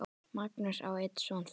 Magnús á einn son fyrir.